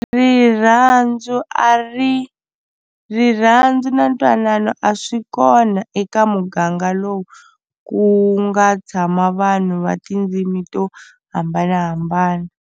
Rirhandzu a ri rirhandzu na ntwanano a swi kona eka muganga lowu ku nga tshama vanhu va tindzimi to hambanahambana.